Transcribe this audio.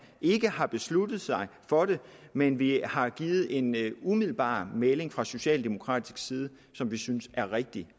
ikke har besluttet sig for det men vi har givet en umiddelbar melding fra socialdemokratisk side som vi synes er rigtig